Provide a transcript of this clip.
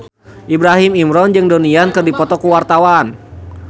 Ibrahim Imran jeung Donnie Yan keur dipoto ku wartawan